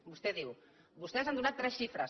vostè diu vostès han donat tres xifres